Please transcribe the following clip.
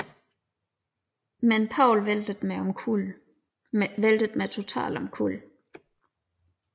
Men Paul væltede mig totalt omkuld